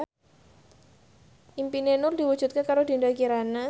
impine Nur diwujudke karo Dinda Kirana